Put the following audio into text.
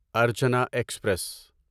Archana express